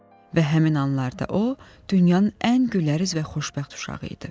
və həmin anlarda o, dünyanın ən gülərüz və xoşbəxt uşağı idi.